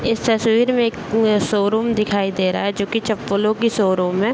इस तस्वीर में एक शोरूम दिखाई दे रहा है जो की चप्पलों की शोरूम है।